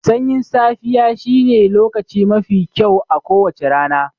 Sanyin safiya shine lokaci mafi kyau a kowacce rana.